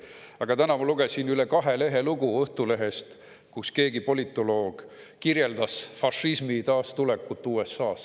Aga täna ma lugesin Õhtulehest lugu, mis on üle kahe lehe pikk, kus keegi politoloog kirjeldas fašismi taastulekut USA‑sse.